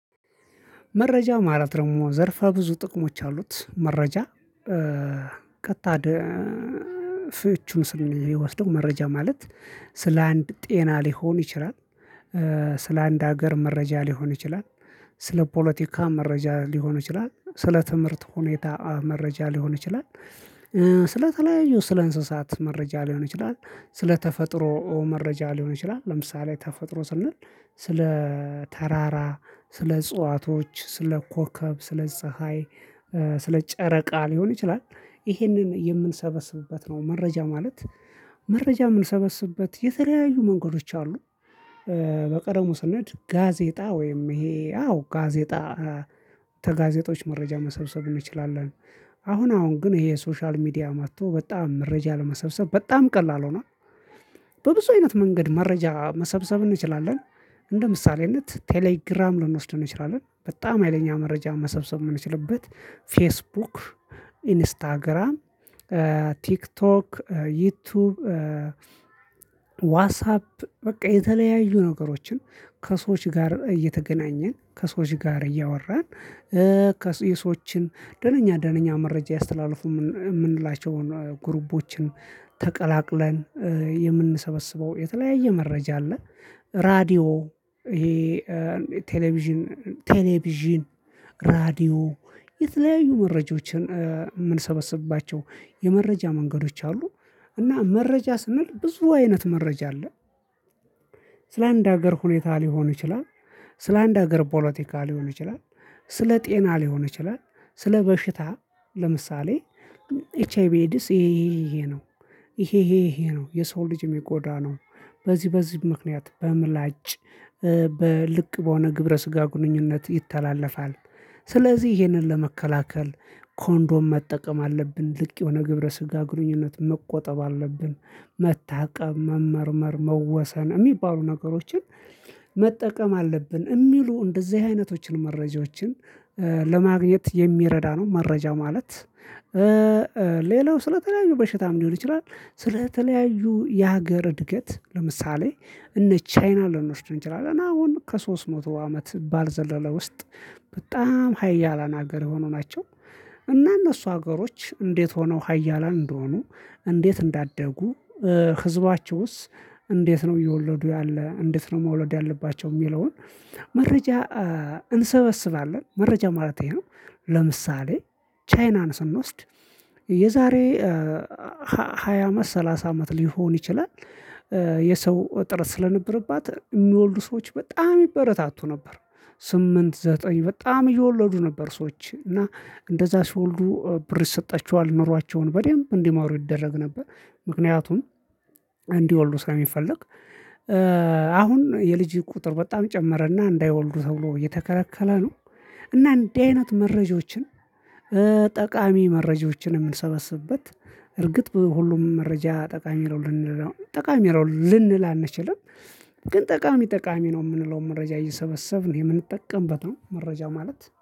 መረጃ ማለት ደግሞ ዘርፋ ብዙ ጥቅሞች አሉት። መረጃ ቀጥታ ደ ፍቹ ስንወስደው መረጃ ማለት ስለ አንድ ጤና ሊሆን ይችላል። ስለ አንድ ሀገር መረጃ ሊሆን ይችላል። ስለ ፖለቲካ መረጃ ሊሆን ይችላል። ስለ ትምህርት ሁኔታ መረጃ ሊሆን ይችላል። ስለተለያዩ ስለ እንስሳት መረጃ ሊሆን ይችላል። ስለ ተፈጥሮ መረጃ ሊሆን ይችላል። ለምሳሌ ተፈጥሮ ስንል ስለ ተራራ፣ ስለ እጽዋቶች፣ ስለ ኮከብ፣ ስለ ፀሀይ፣ ስለ ጨረቃ፣ ሊሆን ይችላል ይሄንን የምንሰበስብበት በት ነው መረጃ ማለት? መረጃ የምንሰበስብበት የተለያዩ መንገዶች አሉ። በቀድሞው ስንሄድ ጋዜጣ ወይም ይሄ አዎ ጋዜጣ ተጋዜጦች መረጃ መሰብሰብ እንችላለን። አሁን አሁን ግን ይሄ ሶሻል ሚዲያ መጥቶ በጣም መረጃ ለመሰብሰብ በጣም ቀላል ሆኗል። በብዙ አይነት መንገድ መረጃ መሰብሰብ እንችላለን። እንደ ምሳሌነት ቴሌግራም ልንወስደን እንችላለን። በጣም አይለኛ ሀይለኛ መረጃ መሰብሰብ የምንችልበት። ፌስቡክ፣ ኢንስታግራም፣ ቲክቶክ፣ ዩቲዩብ፣ ዋትሳፕ፣ በቃ የተለያዩ ነገሮችን ከሰዎች ጋር እየተገናኘን ከሰዎች ጋር እያወራን ከሰዎች የሰዎችን ደነኛ ደነኛ መረጃ ያስተላልፉ የምንላቸውን ግሩቦችን ተቀላቅለን የምንሰበስበው የተለያየ መረጃ አለ። ራዲ፣ ይሄ ቴሌቪዥን ቴሌቪዥን፣ ራዲዮ፣ የተለያዩ መረጃዎችን የምንሰበስባቸው የመረጃ መንገዶች አሉ። እና መረጃ ስንል ብዙ አይነት መረጃ አለ። ስለ አንድ ሀገር ሁኔታ ሊሆን ይችላል። ስለአንድ ሀገር ፖለቲካ ሊሆን ይችላል፣ ስለጤና ሊሆን ይችላል። ስለበሽታ ለምሳሌ ኤች አይ ቢ ኤዲስ ይሄ ይሄ ይሄ ነው። ይሄ ይሄ ይሄ ነው የሰው ልጅ ሚጎዳ ነው በዚህ በዚህ ምክንያት በምላጭ በልቅ በሆነ ግብረ ስጋ ግንኙነት ይተላለፋል። ስለዚህ ይሄንን ለመከላከል ኮንዶም መጠቀም አለብን ልክ የሆነ ግብረ ስጋ ግንኙነት መቆጠብ አለብ። መታቀብ፣ መመርመር፣ መወሰን፣ የሚባሉ ነገሮችን መጠቀም አለብን። የሚሉ እንደዚህ አይነቶችን መረጃዎችን ለማግኘት የሚረዳ ነው መረጃ ማለት። ሌላው ስለተለያዩ በሽታም ሊሆን ይችላል። ስለተለያዩ የሀገር እድገት ለምሳሌ እነ ቻይና ልንወስድ እንችላለን። አሁን ከሶስት መቶ አመት ባልዘለለ ውስጥ በጣም ሀያላን ሀገር የሆኑ ናቸው። እና እነሱ ሀገሮች እንዴት ሆነው ሀያላን እንደሆኑ እንዴት እንዳደጉ ህዝባችሁስ እንዴት ነው። እየወለዱ ያለ እንዴት ነው መውለድ ያለባቸው። የሚለውን መረጃ እንሰበስባለን። መረጃ ማለቴ ይሄ ነው። ለምሳሌ ቻይናን ስንወስድ የዛሬ ሃያ አመት፣ ሰላሳ አመት፣ ሊሆን ይችላል። እጥረት ስለነበረባት የሚወልዱ ሰዎች በጣም ይበረታቱ ነበር። ስምንት ዘጠኝ በጣም እየወለዱ ነበር ሰዎች እና እንደዛ ሲወልዱ ብር ይሰጣቸዋል። ኖሯቸውን በደንብ እንዲማሩ ይደረግ ነበር። ምክንያቱም እንዲወልዱ ስለሚፈልግ። አሁን የልጅ ቁጥር በጣም ጨመረና እንዳይወልዱ ተብሎ እየተከረከለ ነው። እና እንደዚህ አይነት መረጃዎችን ጠቃሚ መረጃዎችን የምንሰበስብበት እርግጥ ሁሉም መረጃ ጠቃሚ ይለው ልንል አንችልም። ግን ጠቃሚ ጠቃሚ ነው የምንለው መረጃ እየሰበሰብን የምንጠቀምበት ነው። መረጃ ማለት